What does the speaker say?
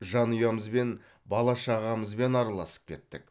жанұямызбен бала шағамызбен араласып кеттік